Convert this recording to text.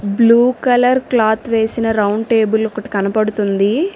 Blue colour cloth వేసిన round table ఒకటి కనపడుతుంది.